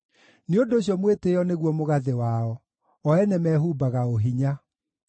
Nĩ ũndũ ũcio mwĩtĩĩo nĩguo mũgathĩ wao; o ene mehumbaga ũhinya.